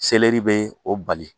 bee o bali.